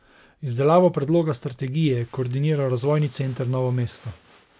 Izdelavo predloga strategije je koordiniral Razvojni center Novo mesto.